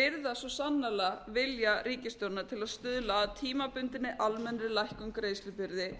virðast svo sannarlega vilja ríkisstjórnarinnar til að stuðla að tímabundinni almennri lækkun greiðslubyrði